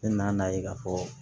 Ne nan'a ye k'a fɔ